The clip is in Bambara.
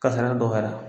Kasara dɔgɔyara